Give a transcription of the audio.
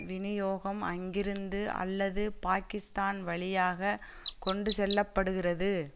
வினியோகம் அங்கிருந்து அல்லது பாக்கிஸ்தான் வழியாக கொண்டு செல்ல படுகிறது